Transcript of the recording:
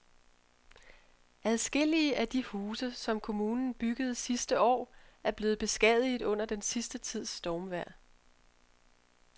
Adskillige af de huse, som kommunen byggede sidste år, er blevet beskadiget under den sidste tids stormvejr.